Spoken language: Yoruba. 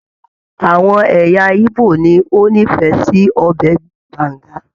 Àwọn ẹ̀yà ìgbò ni o n'ifẹ sí ọbẹ Banga.